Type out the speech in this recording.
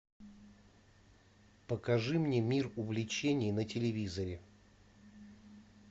покажи мне мир увлечений на телевизоре